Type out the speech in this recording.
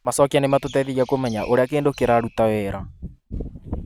Macokĩa nĩ matũteithagia kũmenya ũrĩa kĩndũ kĩraruta wĩra.